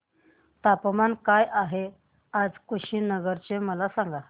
तापमान काय आहे आज कुशीनगर चे मला सांगा